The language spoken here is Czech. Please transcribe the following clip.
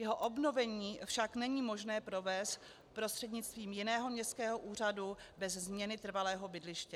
Jeho obnovení však není možné provést prostřednictvím jiného městského úřadu bez změny trvalého bydliště.